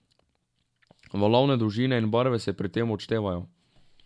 Valovne dolžine in barve se pri tem odštevajo.